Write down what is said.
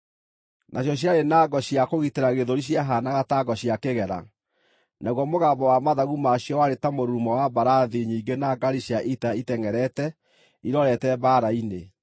Nacio ciarĩ na ngo cia kũgitĩra gĩthũri ciahaanaga ta ngo cia kĩgera, naguo mũgambo wa mathagu maacio warĩ ta mũrurumo wa mbarathi nyingĩ na ngaari cia ita itengʼerete irorete mbaara-inĩ